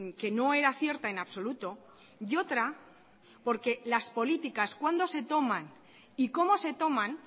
que no era cierta en absoluto y otra porque las políticas cuándo se toman y cómo se toman